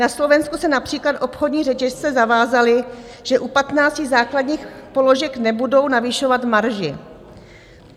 Na Slovensku se například obchodní řetězce zavázaly, že u 15 základních položek nebudou navyšovat marži.